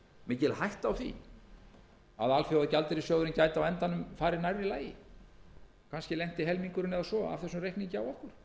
mikil hætta á því að alþjóðagjaldeyrissjóðurinn gæti á endanum farið nærri lagi að kannski lenti helmingurinn eða svo af þessum reikningi á okkur